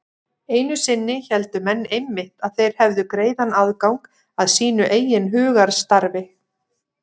Einu sinni héldu menn einmitt að þeir hefðu greiðan aðgang að sínu eigin hugarstarfi.